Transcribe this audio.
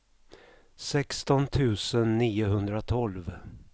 sexton tusen niohundratolv